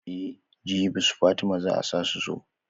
Eh jibi su fatima zaa su zo.